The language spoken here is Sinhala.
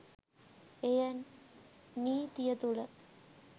එය නීතිිය තුල